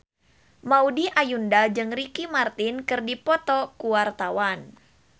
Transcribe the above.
Maudy Ayunda jeung Ricky Martin keur dipoto ku wartawan